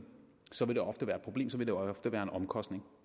så vil det ofte være et problem så vil det ofte være en omkostning